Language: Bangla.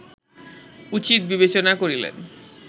উচিত বিবেচনা করিলেন